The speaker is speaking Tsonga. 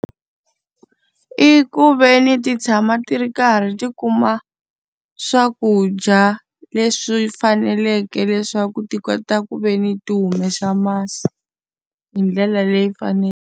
I ku ve ni ti tshama ti ri karhi ti kuma swakudya leswi faneleke leswaku ti kota ku ve ni ti humesa masi hi ndlela leyi faneleke.